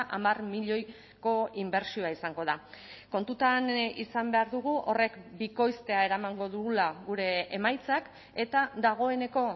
hamar milioiko inbertsioa izango da kontutan izan behar dugu horrek bikoiztea eramango dugula gure emaitzak eta dagoeneko